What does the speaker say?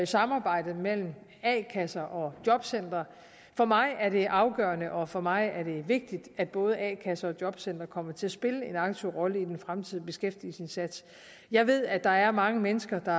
samarbejdet mellem a kasser og jobcentre for mig er det afgørende og for mig er det vigtigt at både a kasser og jobcentre kommer til at spille en aktiv rolle i den fremtidige beskæftigelsesindsats jeg ved at der er mange mennesker der